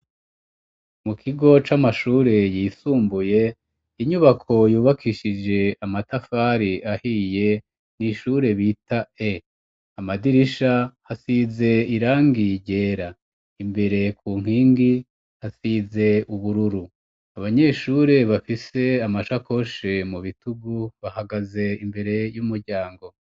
Mukigo c'amashure yisumbuye inyubako yubakishije amatafari ahiye n'ishure bita e. Amadirisha asize irangi ryera, imbere kunkingi hasize ubururu. Abanyeshure bafise amashakoshe mubitugu bahagaze imbere y'umuryango.